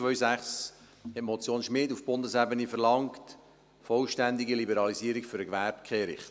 2006 verlangte die Motion Schmid auf Bundesebene die vollständige Liberalisierung für den Gewerbekehricht.